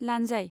लानजाइ